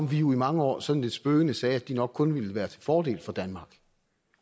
vi jo i mange år sådan lidt spøgende sagde at de nok kun ville være til fordel for danmark